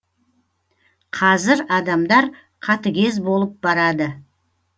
қазір адамдар қатыгез болып барады